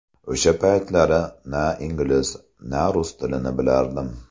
O‘sha paytlari na ingliz, na rus tilini bilardim.